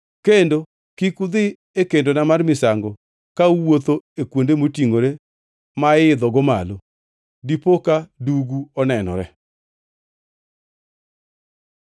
Kendo kik udhi e kendona mar misango ka uwuotho e kuonde motingʼore ma iidhogo malo, dipo ka dugu onenorene.’